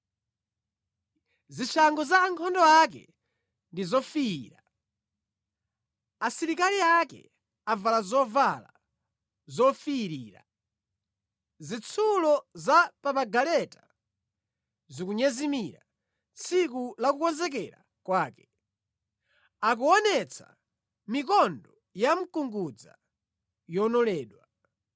Zishango za ankhondo ake ndi zofiira; asilikali ake avala zovala zofiirira. Zitsulo za pa magaleta zikunyezimira tsiku la kukonzekera kwake. Akuonetsa mikondo ya mkungudza yonoledwa.